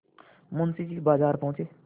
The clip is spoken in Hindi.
मुंशी जी बाजार पहुँचे